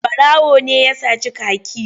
Ɓarawo ne ya sace kaki.